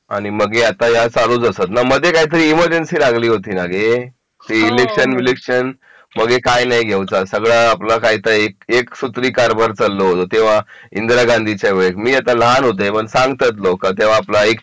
मगे आता या चालूच असत ना मध्ये काहीतरी इमर्जन्सी लागली होती ना गे ते इलेक्शन विलक्षण म्हणजे काय नाही घ्यायचा सगळा आपला एक सुत्री कारभार चाललो होतो तेव्हा इंदिरा गांधीच्या वेळेत मी तेव्हा लहान होतय पण सांगतात लोक तेव्हा आपला एक